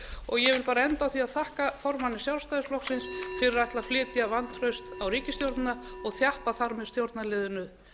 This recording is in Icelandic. og ég vil enda á því að þakka formanni sjálfstæðisflokksins fyrir að ætla að flytja vantraust á ríkisstjórnina og þjappa þar með stjórnarliðinu